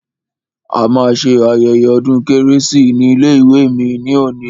A ma ṣe ayẹyẹ ọdún kérésì ní ilé ìwé mi ní òní.